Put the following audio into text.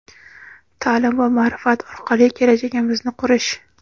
ta’lim va ma’rifat orqali kelajagimizni qurish.